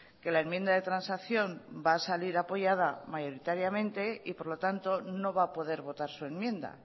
que la enmienda de transacción va a salir apoyada mayoritariamente y por lo tanto no va a poder votar su enmienda